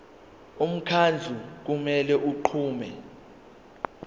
umkhandlu kumele unqume